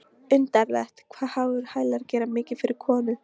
Undarlegt hvað háir hælar gera mikið fyrir konur.